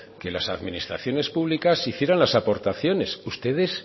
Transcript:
que las administraciones públicas hicieran las aportaciones ustedes